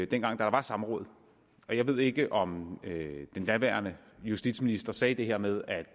dengang der var samråd og jeg ved ikke om den daværende justitsminister sagde det her med at